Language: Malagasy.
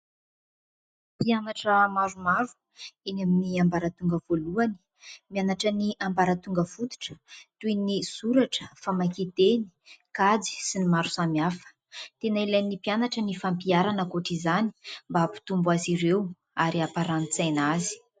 Mpianatra maromaro eny amin'ny ambaratonga voalohany, mianatra ny ambaratonga fototra toy ny soratra, famakian-teny, kajy, sy ny maro samihafa. Tena ilain'ny mpianatra ny fampiarana ankoatra izany mba hampitombo azy ireo ary hampaharani-tsaina azy.